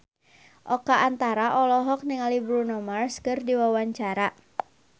Oka Antara olohok ningali Bruno Mars keur diwawancara